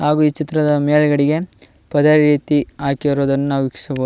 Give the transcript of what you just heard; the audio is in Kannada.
ಹಾಗು ಈ ಚಿತ್ರದ ಮೇಲ್ಗಡೆಗೆ ಪರದೆ ರೀತಿ ಹಾಕಿರುವುದನ್ನು ನಾವು ವೀಕ್ಷಿಸಬಹು--